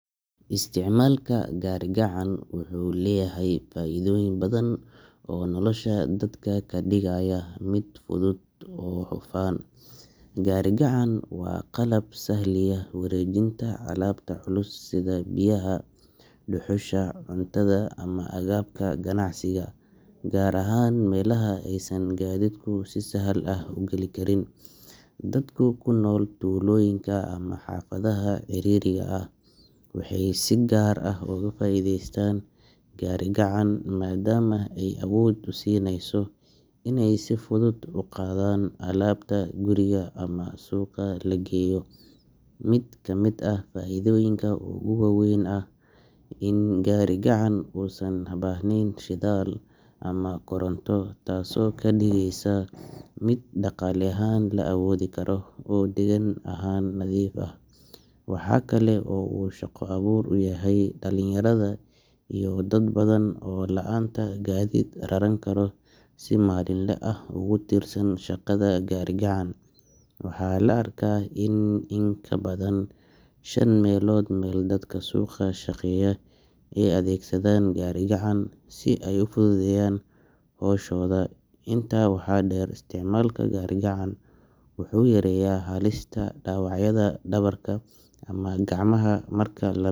Isticmaalka gari gacan wuxuu leeyahay faa’iidooyin badan oo nolosha dadka ka dhigaya mid fudud oo hufan. Gari gacan waa qalab sahliya wareejinta alaabta culus sida biyaha, dhuxusha, cuntada ama agabka ganacsiga, gaar ahaan meelaha aysan gaadiidku si sahal ah u gali karin. Dadka ku nool tuulooyinka ama xaafadaha ciriiriga ah waxay si gaar ah ugu faa’iideystaan gari gacan, maadaama ay awood u siinayso inay si fudud u qaadaan alaabta guriga ama suuqa la geeyo. Mid ka mid ah faa’iidooyinka ugu weyn ayaa ah in gari gacan uusan u baahnayn shidaal ama koronto, taasoo ka dhigeysa mid dhaqaale ahaan la awoodi karo oo deegaan ahaan nadiif ah. Waxaa kale oo uu shaqo abuur u yahay dhalinyarada iyo dad badan oo la’aanta gaadiid raran karo si maalinle ah ugu tiirsan shaqada gari gacan. Waxaa la arkaa in in ka badan shan meelood meel dadka suuqa ka shaqeeya ay adeegsadaan gari gacan si ay u fududeeyaan hawshooda. Intaa waxaa dheer, isticmaalka gari gacan wuxuu yareeyaa halista dhaawacyada dhabarka ama gacmaha marka.